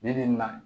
Ne bi na